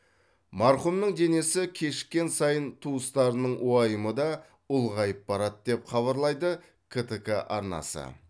марқұмның денесі кешіккен сайын туыстарының уайымы да ұлғайып барады деп хабарлайды ктк арнасы